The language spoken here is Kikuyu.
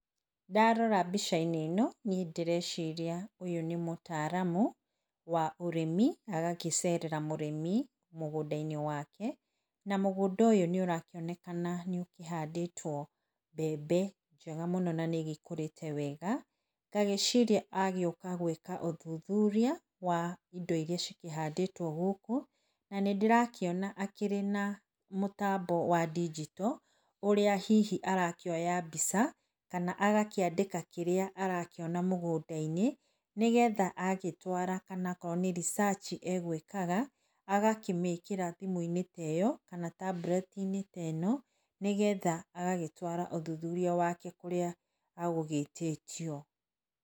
Ndarora mbica-inĩ ĩno, niĩ ndĩreciria ũyũ nĩ mũtaaramu wa ũrĩmi agakĩcerera mũrĩmi mũgũnda-inĩ wake, na mũgũnda ũyũ nĩũrakĩonekana nĩ ũhandĩtwo mbembe njega mũno na nĩ igĩkũrĩte wega, ngagĩciria agĩũka gwĩka ũthuthuria wa indo iria cikĩhandĩtwo gũkũ na nĩ ndĩrakĩona akĩrĩ na mũtambo wa ndinjito ũrĩa hihi arakĩoa mbica kana agakĩandĩka kĩrĩa arakĩona mũgũnda-inĩ nĩ getha agĩtwara kana akorwo nĩ research e gwĩkaga , agakĩmĩkĩra thimũ-inĩ ta ĩyo kana tambureti-inĩ ta ĩno nĩgetha agagĩtwara ũthuthuria wake kũrĩa agũgĩtĩtio.